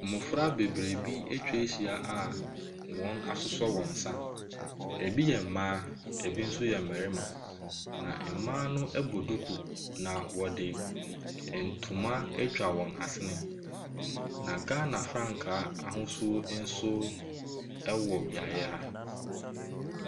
Mmɔfra bebree bi atwa ahyia a wɔasosɔ wɔn nsa. Ebi yɛ mmaa, ebi nso yɛ mmarima, na mmaa no bɔ duku, na wɔde ntoma atwa wɔn asene, na Ghana frankaa ahosuo nso wɔ beaeɛ ha.